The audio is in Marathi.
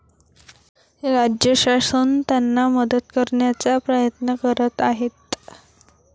राज्यशासन त्यांना मदत करण्याचा प्रयत्न करत आहेत.